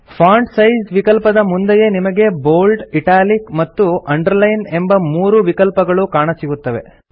font size ವಿಕಲ್ಪದ ಮುಂದೆಯೇ ನಿಮಗೆ ಬೋಲ್ಡ್ ಇಟಾಲಿಕ್ ಮತ್ತು ಅಂಡರ್ಲೈನ್ ಎಂಬ ಮೂರು ವಿಕಲ್ಪಗಳು ಕಾಣಸಿಗುತ್ತವೆ